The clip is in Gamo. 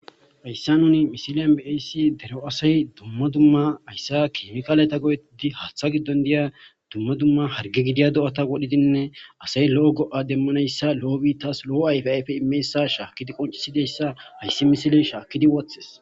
Haysa misile be7ishin daro asay dumma dumma hayssa keemikaaleta go7ettiza haaththa giddon diya dumma dumma harge gidiya do7ata wodhiza lo7o go7a immiyaysa haysa misiley qoncis woththis.